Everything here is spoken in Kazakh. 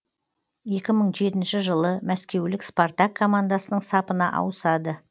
екі мың жетінші жылы мәскеулік спартак командасының сапына ауысады